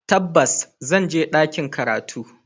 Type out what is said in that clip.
Tabbas, zan je ɗakin karatu.